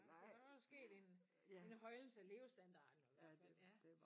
Så der var der sket en en højnelse af levestandarden jo i hvert fald ja